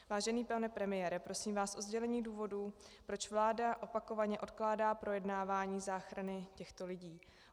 Vážený pane premiére, prosím vás o sdělení důvodů, proč vláda opakovaně odkládá projednávání záchrany těchto lidí.